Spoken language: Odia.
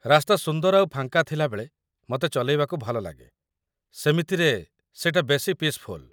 ରାସ୍ତା ସୁନ୍ଦର ଆଉ ଫାଙ୍କା ଥିଲାବେଳେ ମତେ ଚଲେଇବାକୁ ଭଲଲାଗେ, ସେମିତିରେ, ସେଟା ବେଶି ପିସ୍‌ଫୁଲ୍ ।